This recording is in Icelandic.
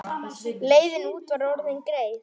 Leiðin út var orðin greið.